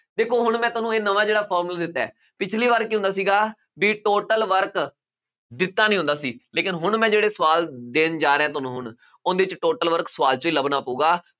ਦੇਖੋ ਹੁਣ ਮੈਂ ਤੁਹਾਨੂੰ ਇਹ ਨਵਾਂ ਜਿਹੜਾ formula ਦਿੱਤਾ ਹੈ, ਪਿਛਲੀ ਵਾਰ ਕੀ ਹੁੰਦਾ ਸੀਗਾ ਬਈ total work ਦਿੱਤਾ ਨਹੀਂ ਹੁੰਦਾ ਸੀ, ਲੇਕਿਨ ਹੁਣ ਮੈਂ ਜਿਹੜੇ ਸਵਾਲ ਦੇਣ ਜਾ ਰਿਹਾ ਤੁਹਾਨੂੰ ਹੁਣ, ਉਹਦੇ ਚ total work ਸਵਾਲ ਚੋਂ ਹੀ ਲੱਭਣਾ ਪਊਗਾ।